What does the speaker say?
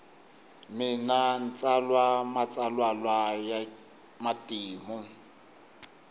mina ntsala matsalwalwa yamatimu